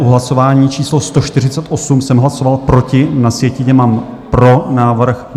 V hlasování číslo 148 jsem hlasoval proti, na sjetině mám "pro návrh".